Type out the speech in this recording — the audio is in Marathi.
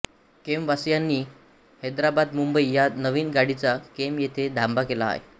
केमवासियांनी हैदराबादमुंबई या नवीन गाडीचा केम येथे थांबा केला आहे